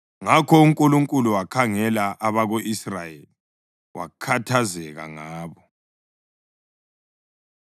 Ngakho uNkulunkulu wakhangela abako-Israyeli, wakhathazeka ngabo.